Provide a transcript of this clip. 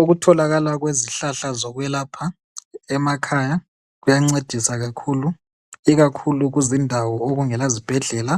Ukutholakala kwezihlahla zokwelapha emakhaya kuyancedisa kakhulu, ikakhulu kuzindawo okungela zibhedlela